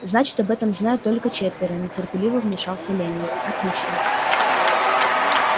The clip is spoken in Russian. значит об этом знают только четверо нетерпеливо вмешался лэннинг отлично